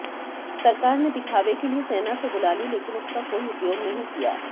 सरकार ने दिखावे के लिए सेना तो बुला ली लेकिन उसका कोई उपयोग नहीं किया